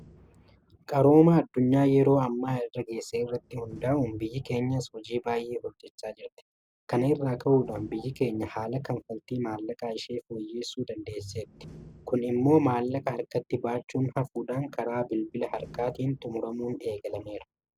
Qarooma addunyaan yeroo ammaa irra geesse irratti hundaa'uun biyyi keenyas hojii baay'ee hojjechaa jirti. Kana irraa ka'uudhaan biyyi keenya haala kanfaltii maallaqaa ishee fooyyessuu dandeesseetti. Kun immoo maallaqa harkatti baachuun hafuudhaan karaa bilbila harkaatiin xumuramuun eegalameera.